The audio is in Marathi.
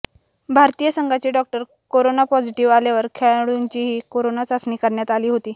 भारतीय संघाचे डॉक्टर करोना पॉझिटीव्ह आल्यावर खेळाडूंचीही करोना चाचणी घेण्यात आली होती